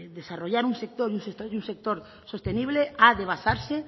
desarrollar un sector y un sector sostenible ha de basarse